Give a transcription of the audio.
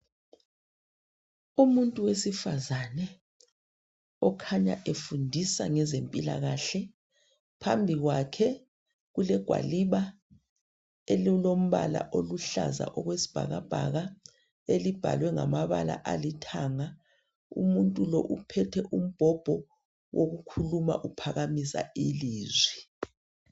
Umuntu wesifazane okhanya efundisa ngezempilakahle. Phambi kwakhe kulegwaliba elilombala oluhlaza okwesibhakabhaka elibhalwe ngamabala alithanga. Umuntu lo uphethe umbhobho wokukhuluma uphakamisa ilizwi.